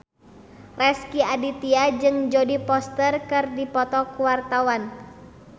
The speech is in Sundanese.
Rezky Aditya jeung Jodie Foster keur dipoto ku wartawan